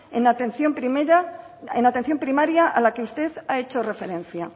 en la atención primaria a la que usted ha hecho referencia